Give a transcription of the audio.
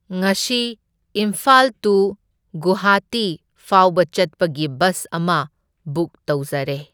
ꯉꯁꯤ ꯏꯝꯐꯥꯜ ꯇꯨ ꯒꯨꯍꯥꯇꯤ ꯐꯥꯎꯕ ꯆꯠꯄꯒꯤ ꯕꯁ ꯑꯃ ꯕꯨꯛ ꯇꯧꯖꯔꯦ꯫